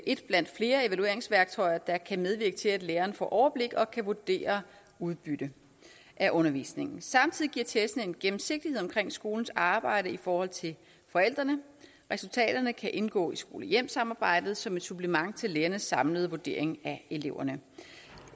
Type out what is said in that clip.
et blandt flere evalueringsværktøjer der kan medvirke til at læreren får overblik og kan vurdere udbyttet af undervisningen samtidig giver testene en gennemsigtighed omkring skolens arbejde i forhold til forældrene resultaterne kan indgå i skole hjem samarbejdet som et supplement til lærernes samlede vurdering af eleverne